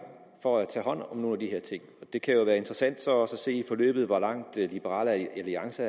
for at tage hånd om nogle af de her ting det kan jo være interessant så også at se i forløbet hvor langt liberal alliance